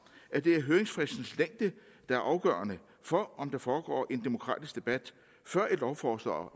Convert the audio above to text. at det er høringsfristens længde der er afgørende for om der foregår en demokratisk debat før et lovforslag